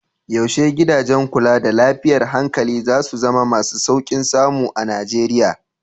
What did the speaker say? Yaushe gidajen kula da lafiyar hankali za su zama masu sauƙin samu a Nijeriya?